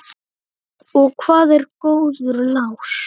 Og hvað er góður lás?